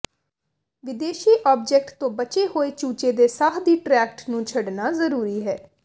ਵਿਦੇਸ਼ੀ ਆਬਜੈਕਟ ਤੋਂ ਬਚੇ ਹੋਏ ਚੂਚੇ ਦੇ ਸਾਹ ਦੀ ਟ੍ਰੈਕਟ ਨੂੰ ਛੱਡਣਾ ਜ਼ਰੂਰੀ ਹੈ